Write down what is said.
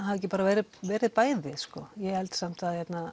hafi ekki bara verið verið bæði ég held samt